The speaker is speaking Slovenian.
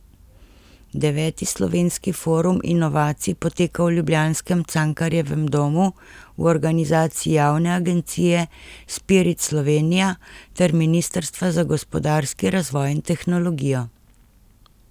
Deveti Slovenski forum inovacij poteka v ljubljanskem Cankarjevem domu v organizaciji javne agencije Spirit Slovenija ter ministrstva za gospodarski razvoj in tehnologijo.